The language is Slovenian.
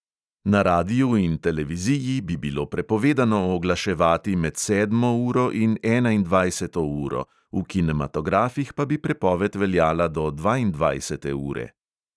Na radiu in televiziji bi bilo prepovedano oglaševati med sedmo uro in enaindvajseto uro, v kinematografih pa bi prepoved veljala do dvaindvajsete ure.